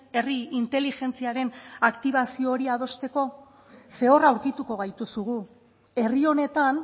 herri inteligentziaren aktibazio hori adosteko zer hor aurkituko gaituzu gu herri honetan